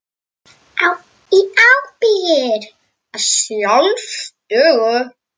Í ábyrgð að sjálfsögðu.